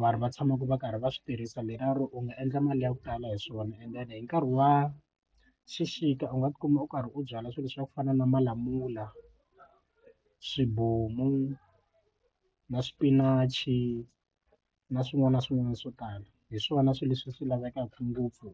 vanhu va tshamaka va karhi va swi tirhisa ro u nga endla mali ya ku tala hi swona and then hi nkarhi wa xixika u nga tikuma u karhi u byala swilo leswi swa ku fana na malamula swibomu na swipinachi na swin'wana na swin'wana swo tala hi swona swilo leswi swi lavekaka ngopfu